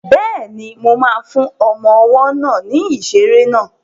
Bẹ́ẹ̀ni, mo ma fún ọmọ ọwọ́ náà ní ìṣeré náà